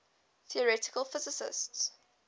theoretical physicists